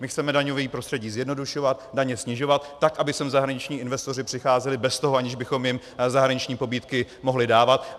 My chceme daňové prostředí zjednodušovat, daně snižovat, tak aby sem zahraniční investoři přicházeli bez toho, že bychom jim zahraniční pobídky mohli dávat.